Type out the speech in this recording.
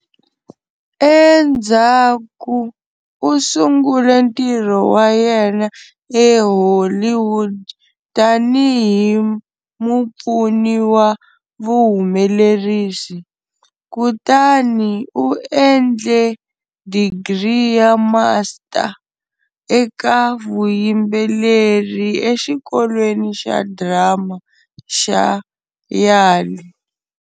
Endzhaku u sungule ntirho wa yena eHollywood tanihi mupfuni wa vuhumelerisi. Kutani u endle digri ya master eka vuyimbeleri eXikolweni xa Drama xa Yale.